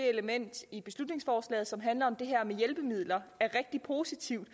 element i beslutningsforslaget som handler om det her med hjælpemidler er rigtig positivt